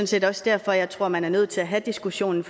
set også derfor at jeg tror at man er nødt til at have diskussionen